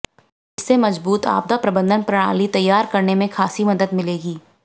इससे मजबूत आपदा प्रबंधन प्रणाली तैयार करने में खासी मदद मिलेगी